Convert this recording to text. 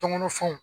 Tɔŋɔnɔ fɛnw